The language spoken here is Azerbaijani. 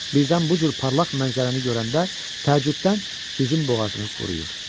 Birdən bu cür parlaq mənzərəni görəndə təəccübdən sizin boğazınız quruyur.